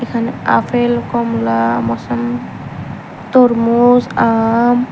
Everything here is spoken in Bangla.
এখানে আপেল কমলা মোসম্বি তরমুজ আম--